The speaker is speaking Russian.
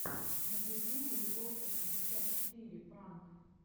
на ютубе вокса пятьдесят четыре пранк